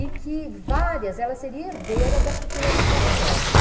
E que várias, ela seria herdeira da fortuna dos Romanov.